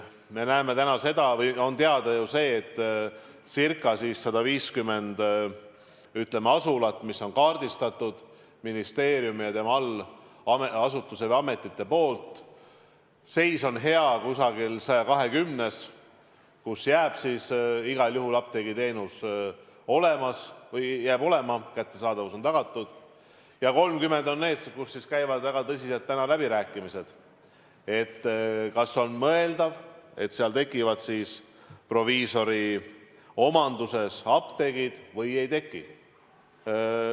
Me näeme täna seda või on teada ju see, et ca 150 asulast, mis on kaardistatud ministeeriumi ja tema allasutuste või ametite poolt, on seis hea kusagil 120-s, seal jääb igal juhul apteegiteenus alles, kättesaadavus on tagatud, ja 30 on neid, kus käivad väga tõsiselt läbirääkimised, et kas on mõeldav, et seal tekivad proviisoromandis apteegid või ei teki.